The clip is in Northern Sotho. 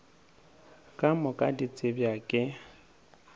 ka moka di tsebja ke